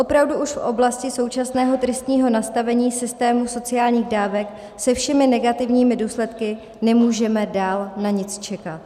Opravdu už v oblasti současného tristního nastavení systému sociálních dávek se všemi negativními důsledky nemůžeme dál na nic čekat.